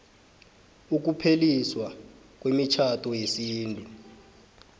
ukupheliswa kwemitjhado yesintu